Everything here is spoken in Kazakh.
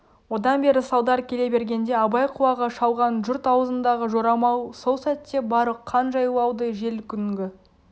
одан бері салдар келе бергенде абай құлағы шалған жұрт аузындағы жорамал сол сәтте барлық қан жайлауды жел күнгі